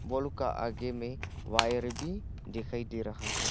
Wall का आगे में वायर भी दिखाई दे रहा है।